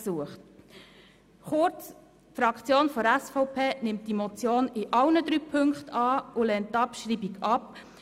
Kurz, die SVP-Fraktion nimmt die Motion in allen drei Punkten an und lehnt die Abschreibung ab.